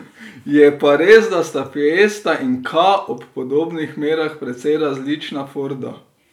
Je pa res, da sta fiesta in ka ob podobnih merah precej različna forda.